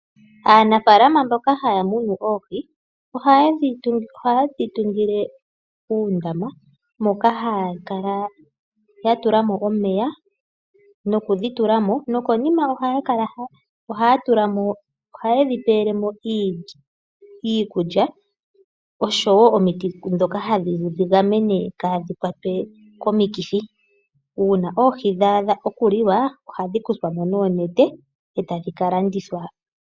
Aanafaalama mboka haya munu oohi ohaye dhi tungile uundama moka haya kala ya tula mo omeya nokudhi tula mo nokonima ohaye dhi pele mo iikulya noshowo omiti ndhoka hadhi dhi gamene opo kaadhi kwatwe komithi. Uuna dha adha okuliwa hadhi kuthwa mo noonete e tadhi ka landithwa po.